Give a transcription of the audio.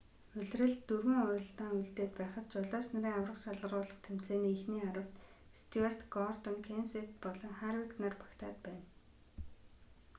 улиралд дөрвөн уралдаан үлдээд байхад жолооч нарын аварга шалгаруулах тэмцээний эхний аравт стьюарт гордон кенсет болон харвик нар багтаад байна